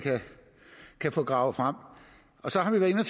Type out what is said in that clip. kan få gravet frem så har vi været inde